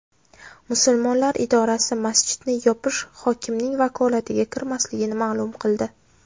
Musulmonlar idorasi masjidni yopish hokimning vakolatiga kirmasligini ma’lum qildi.